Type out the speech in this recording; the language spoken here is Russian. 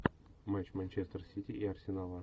матч манчестер сити и арсенала